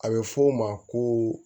A bɛ fɔ o ma ko